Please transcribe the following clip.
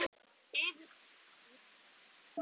Yfir engu að kvarta.